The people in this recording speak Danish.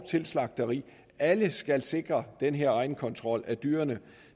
til slagteri alle skal sikre den her egenkontrol af dyrene